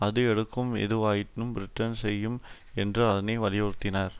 அது எடுக்கும் எதுவாயினும் பிரிட்டன் செய்யும் என்று அதனை வலியுறுத்தினர்